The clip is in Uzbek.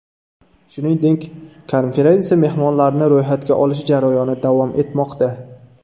Shuningdek, konferensiya mehmonlarini ro‘yxatga olish jarayoni davom etmoqda.